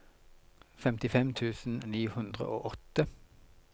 femtifem tusen ni hundre og åtte